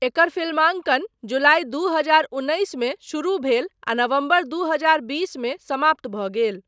एकर फिल्मांकन जुलाई दू हजार उन्नैस मे शुरु भेल आ नवम्बर दू हजार बीस मे समाप्त भऽ गेल।